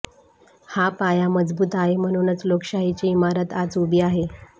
हा पाया मजबूत आहे म्हणूनच लोकशाहीची इमारत आज उभी आहे